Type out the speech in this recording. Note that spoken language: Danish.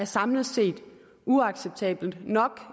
samlet set er uacceptabel nok